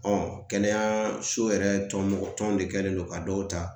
kɛnɛyaso yɛrɛ tɔn mɔgɔ tɔn de kɛlen don ka dɔw ta